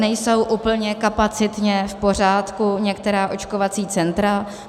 Nejsou úplně kapacitně v pořádku některá očkovací centra.